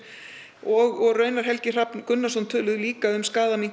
og Helgi Hrafn Gunnarsson töluðu líka um